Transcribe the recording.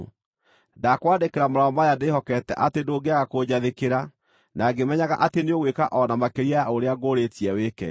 Ndakwandĩkĩra marũa maya ndĩhokete atĩ ndũngĩaga kũnjathĩkĩra, na ngĩmenyaga atĩ nĩũgwĩka o na makĩria ya ũrĩa ngũrĩĩtie wĩke.